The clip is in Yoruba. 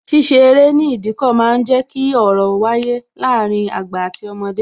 Ṣíṣe eré ní Ìdíkọ̀ máa ń jẹ ki ọ̀rọ̀ wáyé láàárín àgbà àti ọmọdé